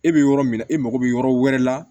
E bɛ yɔrɔ min na e mago bɛ yɔrɔ wɛrɛ la